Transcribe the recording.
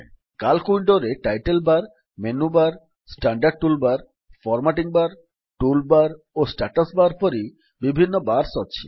CALC ୱିଣ୍ଡୋରେ title bar menu bar standard tool bar formatting bar formula bar ଓ status bar ପରି ବିଭିନ୍ନ bars ଅଛି